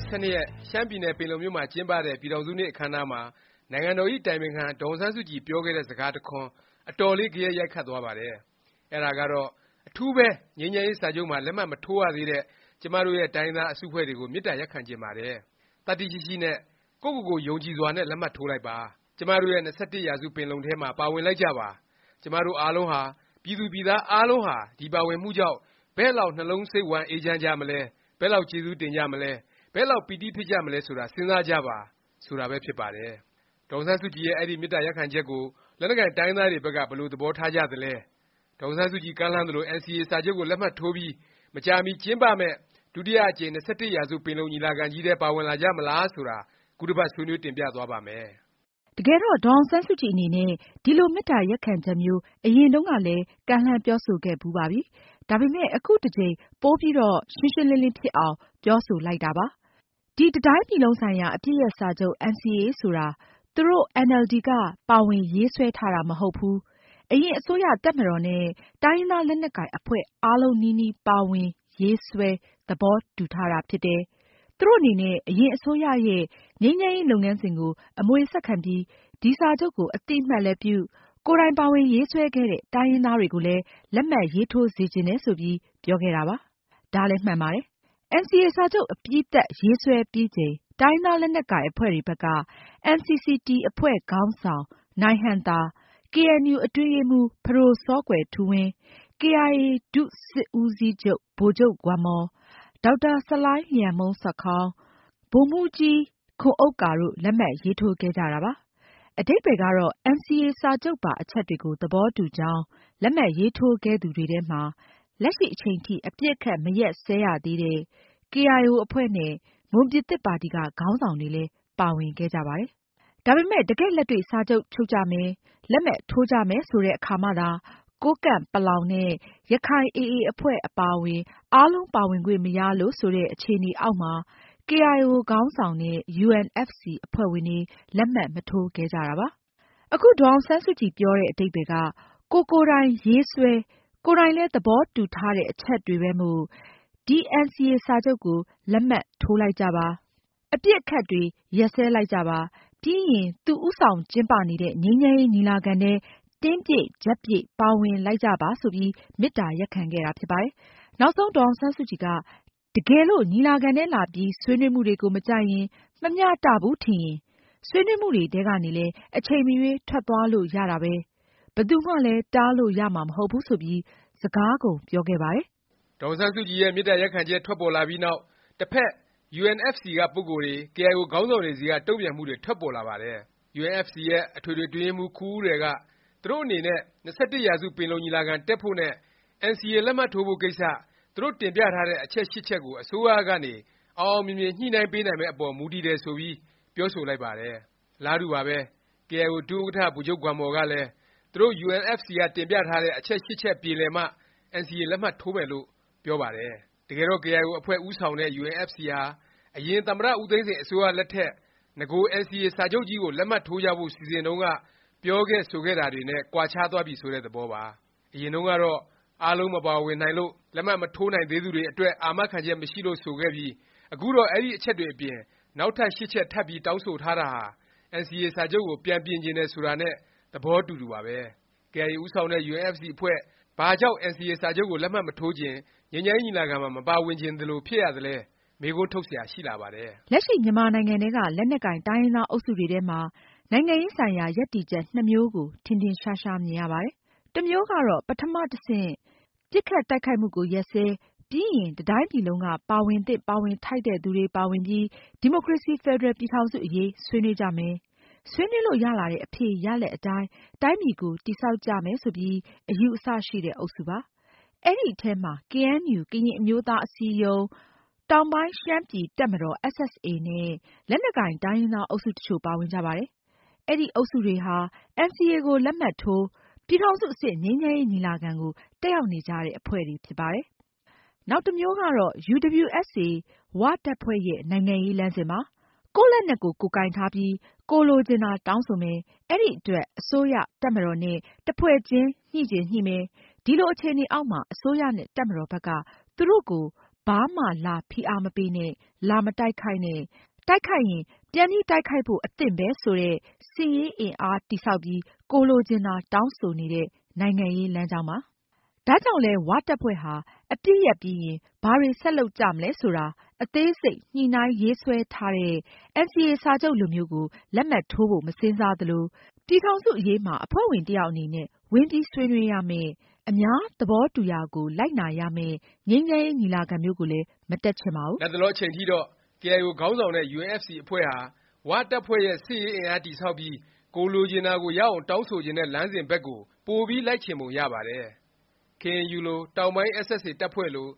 ီ ၁၂ရက် ရှမ်းပြည်နယ် ပင်လုံမြို့မှာ ကျင်းပတဲ့ ပြည်ထောင်စုနေ့ အခန်းအနားမှာ နိုင်ငံတော်ဇ။် အတိုင်ပင်ခံ ဒေါ်အောင်ဆန်းစုကြည် ပြောခဲ့တဲ့ စကားတစ်ခွန်း အတော်လေး ဂယက်ရိုက်သွားပါတယ်။ အဲဒါကတော့ “အထူးပဲ ငြိမ်းချမ်းရေး စာချုပ်မှာ လက်မှတ် မထိုးရသေးတဲ့ ကျမတို့ရဲ့ တိုင်းရင်းသား အစုအဖွဲ့တွေကို မေတ္တာရပ်ခံချင်ပါတယ်။ သတ္တိရှိရှိနဲ့ ကိုယ့်ကိုယ်ကိုယ် ယုံကြည်စွာနဲ့ လက်မှတ်ထိုးလိုက်ပါ။ ကျမတို့ရဲ့ ၂၁ ရာစု ပင်လုံထဲမှာ ပါဝင်လိုက်ကြပါ။ ကျမတို့ အားလုံးဟာ ပြည်သူပြည်သား အားလုံးဟာ ဒီပါဝင်မှုကြောင့် ဘယ့်လောက် နှလုံးစိတ်ဝမ်း အေးချမ်းကြမလဲ၊ ဘယ့်လောက် ကျေးဇူးတင်ကြမလဲ၊ ဘယ့်လောက် ပီတိဖြစ်ကြမလဲ ဆိုတာ စဉ်းစားကြပါ။” ဆိုတာပဲ ဖြစ်ပါတယ်။ ဒေါ်အောင်ဆန်းစုကြည်ရဲ့ အဲဒီ မေတ္တာရပ်ခံချက်ကို လက်နက်ကိုင် တိုင်းရင်းသားတွေ ဘက်က ဘယ်လို သဘောထားကြသလဲ၊ ဒေါ်အောင်ဆန်းစုကြည် ကမ်းလှမ်းသလို NCA စာချုပ်ကို လက်မှတ်ထိုးပြီး မကြာမီ ကျင်းပမယ့် ဒုတိယ အကြိမ် ၂၁ရာစု ပင်လုံညီလာခံကြီးထဲ ပါဝင်လာကြမလား ဆိုတာ ခုတစ်ပတ် ဆွေးနွေးတင်ပြသွားပါ့မယ်။ တကယ်တော့ ဒေါ်အောင်ဆန်းစုကြည် အနေနဲ့ ဒီလို မေတ္တာရပ်ခံချက်မျိုး အရင်တုန်းကလည်း ကမ်းလှမ်း ပြောဆိုခဲ့ဖူးပါပြီ။ ဒါပေမယ့် အခုတစ်ကြိမ် ပိုပြီးတော့ ရှင်းရှင်းလင်းလင်း ဖြစ်အောင် ပြောဆိုလိုက်တာ ဖြစ်ပါတယ်။ ဒီ တစ်တိုင်းပြည်လုံးဆိုင်ရာ အပစ်ရပ် စာချုပ် NCA ဆိုတာ သူတို့ အင်န်အယ်လ်ဒီ က ပါဝင် ရေးဆွဲထားတာ မဟုတ်ဘူး၊ အရင် အစိုးရ၊ တပ်မတော်နဲ့ တိုင်းရင်းသား လက်နက်ကိုင် အဖွဲ့ အားလုံးနီးနီးပါဝင် ရေးဆွဲ သဘောတူထားတာ ဖြစ်တယ်။ သူတို့အနေနဲ့ အရင်အစိုးရရဲ့ ငြိမ်းချမ်းရေး လုပ်ငန်းစဉ်ကို အမွေဆက်ခံပြီး ဒီ စာချုပ်ကို အသိအမှတ်လည်းပြု၊ ကိုယ်တိုင် ပါဝင်ရေးဆွဲခဲ့တဲ့ တိုင်းရင်းသားတွေကိုလည်း လက်မှတ်ရေးထိုးစေချင်တယ် ဆိုပြီး ပြောခဲ့တာပါ။ ဒါမှန်ပါတယ်။ NCA စာချုပ် အပြီးသတ် ရေးဆွဲပြီးချိန် တိုင်းရင်းသား လက်နက်ကိုင် အဖွဲ့တွေဘက်က NCCT အဖွဲ့ခေါင်းဆောင် နိုင်ဟံသာ၊ ကေအဲန်ယူ အတွင်းရေးမှူး ပဒို စောကွယ်ထူးဝင်း၊ ကေအိုင်အေ ဒုစစ်ဦးစီးချုပ် ဗိုလ်ချုပ်ဂွမ်မော်၊ ဒေါက်တာ ဆလိုင်းလျှံမုန်းဆာခေါင်း၊ ဗိုလ်မှူးကြီးခွန်ဥက္ကာ တို့ လက်မှတ်ရေးထိုးခဲ့ကြတာပါ။ အဓိပ္ပါယ်ကတော့ NCA စာချုပ်ပါ အချက်တွေကို သဘောတူကြောင်း လက်မှတ်ရေးထိုးခဲ့သူတွေထဲမှာ လက်ရှိ အချိန်ထိ အပစ်အခတ် မရပ်စဲရသေးတဲ့ ကေအိုင်အို အဖွဲ့နဲ့ မွန်ပြည်သစ် ပါတီက ခေါင်းဆောင်တွေလည်း ပါဝင်ခဲ့ကြပါတယ်။ ဒါပေမယ့် တကယ့်လက်တွေ့ စာချုပ်ချုပ်ကြမယ်၊ လက်မှတ်ထိုးကြမယ် ဆိုတဲ့အခါမှသာ ကိုးကန့်၊ ပလောင်နဲ့ ရခိုင် AAအဖွဲ့ အပါအဝင် အားလုံး ပါဝင်ခွင့်မရလို့ ဆိုတဲ့ အခြေအနေအောက်မှာ ကေအိုင်အို ခေါင်းဆောင်တဲ့ UNFC အဖွဲ့ဝင်တွေ လက်မှတ် မထိုးခဲ့ကြတာပါ။ အခု ဒေါ်အောင်ဆန်းစုကြည် ပြောတဲ့ အဓိပ္ပါယ်က ကိုယ်ကိုယ်တိုင် ရေးဆွဲ၊ ကိုယ်ကိုင်တိုင်လည်း သဘောတူထားတဲ့ အချက်တွေပဲမို့ ဒီ NCA စာချုပ်ကို လက်မှတ်ထိုးလိုက်ကြပါ။ အပစ်အခတ်တွေ ရပ်စဲလိုက်ကြပါ။ ပြီးရင် သူဦးဆောင်ကျင်းပနေတဲ့ ငြိမ်းချမ်းရေး ညီလာခံထဲ တင်းပြည့် ကြပ်ပြည့် ပါဝင်လိုက်ကြပါ ဆိုပြီး မေတ္တာရပ်ခံခဲ့တာ ဖြစ်ပါတယ်။ နောက်ဆုံး ဒေါ်အောင်ဆန်းစုကြည်က တကယ်လို့ ညီလာခံထဲလာပြီး ဆွေးနွေးမှုတွေကို မကြိုက်ရင်၊ မမျှတဘူး ထင်ရင် ဆွေးနွေးမှုတွေထဲကနေလည်း အချိန်မရွေး ထွက်သွားလို့ ရတာပဲ၊ ဘယ်သူမှလည်း တားလို့ ရမှာ မဟုတ်ဘူး ဆိုပြီး စကားကုန်ပြောခဲ့ပါတယ်။ ဒေါ်အောင်ဆန်းစုကြည်ရဲ့ မေတ္တာရပ်ခံချက် ထွက်ပေါ်လာပြီးနောက် တစ်ဖက် UNFC က ပုဂ္ဂိုလ်တွေ၊ ကေအိုင်အို ခေါင်းဆောင်တွေဆီက တုန့်ပြန်မှုတွေ ထွက်ပေါ်လာပါတယ်။ UNFC ရဲ့ အထွေထွေ အတွင်းရေးမှူး ခူဦးရယ်က သူတို့အနေနဲ့ ၂၁ ရာစု ပင်လုံညီလာခံ တက်ဖို့နဲ့ NCA လက်မှတ်ထိုးဖို့ ကိစ္စ သူတို့ တင်ပြထားတဲ့ အချက်(၈) ချက်ကို အစိုးရကနေ အောင်အောင်မြင်မြင် ညှိနှိုင်းပေးနိုင်မယ့် အပေါ် မူတည်တယ် ဆိုပြီး ပြောဆိုလိုက်ပါတယ်။ အလားတူပါပဲ။ ကေအိုင်အို ဒုဥက္ကဌ ဗိုလ်ချုပ်ဂွမ်မော်ကလည်း သူတို့ UNFC က တင်ပြထားတဲ့ အချက်(၈) ချက် ပြေလည်မှ NCA လက်မှတ်ထိုးမယ်လို့ ပြောပါတယ်။ တကယ်တော့ ကေအိုင်အို အဖွဲ့ဦးဆောင်တဲ့ UNFC ဟာ အရင် သမ္မတ ဦးသိန်းစိန် အစိုးရလက်ထက် နဂို NCA စာချုပ်ကြီးကို လက်မှတ်ထိုးကြဖို့ စီစဉ်တုန်း က ပြောခဲ့ဆိုခဲ့တာတွေ နဲ့ ကွာခြားသွားပြီ ဆိုတဲ့ သဘောပါ။ အရင်တုန်းကတော့ အားလုံး မပါဝင်နိုင်လို့၊ လက်မှတ်မထိုးနိုင်သေးသူတွေ အတွက် အာမခံချက် မရှိလို့ ဆိုခဲ့ပြီး အခုတော့ အဲဒီ အချက်တွေအပြင် နောက်ထပ် (၈) ချက် ထပ်ပြီးတောင်းဆိုတာဟာ NCA စာချုပ်ကို ပြန်ပြင်ချင်တယ် ဆိုတာနဲ့ သဘော အတူတူပါပဲ။ ကေအိုင်အို ဦးဆောင်တဲ့ UNFC အဖွဲ့ ဘာကြောင့် NCA စာချုပ်ကို လက်မှတ်မထိုးချင်၊ ငြိမ်းချမ်းရေး ညီလာခံမှာ မပါဝင်ချင်သလို ဖြစ်ရသလဲ မေးခွန်းထုတ်စရာ ရှိလာပါတယ်။ လက်ရှိ မြန်မာနိုင်ငံထဲက လက်နက်ကိုင် တိုင်းရင်းသား အုပ်စုတွေထဲမှာ နိုင်ငံရေး ဆိုင်ရာ ရပ်တည်ချက် နှစ်မျိုးကို ထင်ထင်ရှားရှား မြင်ရပါတယ်။ တစ်မျိုးကတော့ ပထမ တဆင့် ပစ်ခတ်တိုက်ခိုက်မှုကို ရပ်စဲ၊ ပြီးရင် တစ်တိုင်းပြည်လုံးက ပါဝင်သင့် ပါဝင်ထိုက်တဲ့ သူတွေ ပါဝင်ပြီး ဒီမိုကရေစီ ဖက်ဒရယ် ပြည်ထောင်စု အရေး ဆွေးနွေး ကြမယ်။ ဆွေးနွေးလို့ ရလာတဲ့ အဖြေရလာဒ် အတိုင်း တိုင်းပြည်ကို တည်ဆောက်ကြမယ် ဆိုပြီး အယူအဆ ရှိတဲ့ အုပ်စုပါ။ အဲဒီထဲမှာ ကေအဲန်ယူ ကရင်အမျိုးသား အစည်းအရုံး၊ တောင်ပိုင်း ရှမ်းပြည်တပ်မတော် SSA နဲ့ လက်နက်ကိုင် တိုင်းရင်းသား အုပ်စု တစ်ချို့ ပါဝင်ကြပါတယ်။ အဲဒီ အုပ်စုတွေဟာ NCA ကို လက်မှတ်ထိုး၊ ပြည်ထောင်စု အဆင့် ငြိမ်းချမ်းရေး ညီလာခံကို တက်ရောက်နေကြတဲ့ အဖွဲ့တွေ ဖြစ်ပါတယ်။ နောက်တစ်မျိုးကတော့ UWSA ၀ တပ်ဖွဲ့ရဲ့ နိုင်ငံရေး လမ်းစဉ်ပါ။ ကိုယ့်လက်နက် ကိုယ် ကိုင်ထားပြီး ကိုယ်လိုချင်တာ တောင်းဆိုမယ်၊ အဲဒီအတွက် အစိုးရ၊ တပ်မတော်နဲ့ တစ်ဖွဲ့ချင်း ညှိချင်ညှိမယ်၊ ဒီလို အခြေအနေအောက်မှာ အစိုးရနဲ့ တပ်မတော်ဘက်က သူတို့ကို ဘာမှလာ ဖိအားမပေးနဲ့ လာမတိုက်ခိုက်နဲ့ ၊ တိုက်ခိုက်ရင် ပြန်တိုက်ခိုက်ဖို့ အသင့်ပဲ ဆိုတဲ့ စစ်ရေးအင်အား တည်ဆောက်ပြီး ကိုယ်လိုချင်တာ တောင်းဆိုနေ တဲ့ နိုင်ငံရေး လမ်းကြောင်းပါ။ ဒါကြောင့်လည်း ၀ တပ်ဖွဲ့ဟာ အပစ်ရပ်ပြီးရင် ဘာတွေ ဆက်လုပ်ကြမလဲ ဆိုတာ အသေးစိတ် ညှိနှိုင်းရေးဆွဲထားတဲ့ NCA စာချုပ်လိုမျိုးကို လက်မှတ်ထိုးဖို့ မစဉ်းစားသလို၊ ပြည်ထောင်စု အရေးမှာ အဖွဲ့ဝင် တစ်ယောက် အနေနဲ့ ဝင်ဆွေးနွေးရမယ့်၊ အများသဘောတူရာကို လိုက်နာရမယ့် ငြိမ်းချမ်းရေး ညီလာခံမျိုးကိုလည်း မတက်ချင်ပါဘူး။ လတ်တလော အချိန်အထိတော့ ကေအိုင်အို ခေါင်းဆောင်တဲ့ UNFC အဖွဲ့ဟာ ၀ တပ်ဖွဲ့ရဲ့ စစ်ရေးအင်အား တည်ဆောက်ပြီး ကိုယ်လိုချင်တာကို ရအောင် တောင်းဆိုချင် တဲ့ လမ်းစဉ်ဘက်ကို ပိုပြီး လိုက်ချင်ပုံ ရပါတယ်။ ကေအဲန်ယူ လို၊ တောင်ပိုင်း SSA တပ်ဖွဲ့လို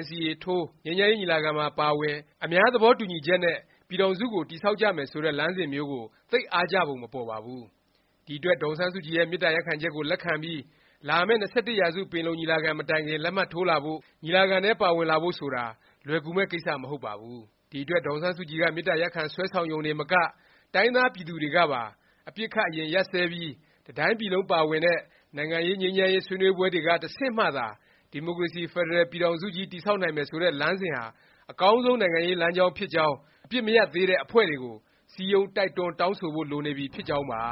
NCA ထိုး၊ ငြိမ်းချမ်းရေး ညီလာခံမှာပါဝင် အများသဘော တူညီချက် နဲ့ ပြည်ထောင်စု ကို တည်ဆောက်ကြမယ် ဆိုတဲ့ လမ်းစဉ်မျိုးကို သိပ် အားကျပုံ မပေါ်ပါဘူး။ ဒီအတွက် ဒေါ်အောင်ဆန်းစုကြည်ရဲ့ မေတ္တာရပ်ခံချက်ကို လက်ခံပြီး လာမယ့် ၂၁ ရာစု ပင်လုံ ညီလာခံ မတိုင်ခင် လက်မှတ်ထိုးလာဖို့၊ ညီလာခံထဲ ပါဝင်လာဖို့ ဆိုတာ လွယ်ကူမယ့် ကိစ္စ မဟုတ်ပါဘူး။ ဒီအတွက် ဒေါ်အောင်ဆန်းစုကြည်က မေတ္တာရပ်ခံ ဆွဲဆောင်ရုံတင်မက တိုင်းရင်းသား ပြည်သူတွေကပါ အပစ်အခတ် အရင်ရပ်စဲပြီး တစ်တိုင်းပြည်လုံး ပါဝင်တဲ့ နိုင်ငံရေး၊ငြိမ်းချမ်းရေး ဆွေးနွေးပွဲတွေက တဆင့်မှသာ ဒီမိုကရေစီ ဖက်ဒရယ် ပြည်ထောင်စုကြီး တည်ဆောက်နိုင်မယ်ဆိုတဲ့ လမ်းစဉ်ဟာ အကောင်းဆုံး နိုင်ငံရေး လမ်းကြောင်းဖြစ်ကြောင်း အပစ်မရပ်သေးတဲ့ အဖွဲ့တွေကို စည်းရုံး၊ တိုက်တွန်း၊ တောင်းဆိုဖို့ လိုနေပြီ ဖြစ်ကြောင်းပါ